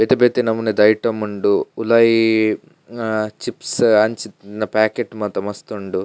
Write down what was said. ಬೇತೆ ಬೇತೆ ನಮುನಿದ ಐಟಮ್ ಉಂಡು ಉಲಾಯಿ ಅಹ್ ಚಿಪ್ಸ್ ಅಂಚಿತ್ತಿನ ಪ್ಯಾಕೇಟ್ ಮಾತ ಮಸ್ತ್ ಉಂಡು.